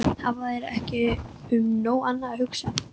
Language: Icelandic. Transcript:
Hafa þeir ekki um nóg annað að hugsa en.